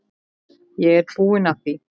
Ég er búinn að því.